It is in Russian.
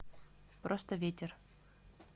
просто ветер